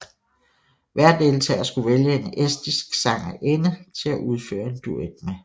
Hver deltager skulle vælge en estisk sangerinde til at udføre en duet med